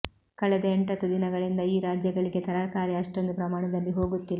ಕಳೆದ ಎಂಟತ್ತು ದಿನಗಳಿಂದ ಈ ರಾಜ್ಯಗಳಿಗೆ ತರಕಾರಿ ಅಷ್ಟೊಂದು ಪ್ರಮಾಣದಲ್ಲಿ ಹೋಗುತ್ತಿಲ್ಲ